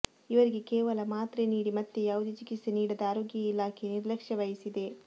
ಇವರಿಗೆ ಕೇವಲ ಮಾತ್ರೆ ನೀಡಿ ಮತ್ತೆ ಯಾವುದೇ ಚಿಕಿತ್ಸೆ ನೀಡದೆ ಆರೋಗ್ಯ ಇಲಾಖೆ ನಿರ್ಲಕ್ಷ್ಯ ವಹಿಸಿದೆ